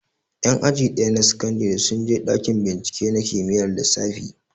Ƴan aji ɗaya na sakandare sun je ɗakin bincike na kimiyyar lissafi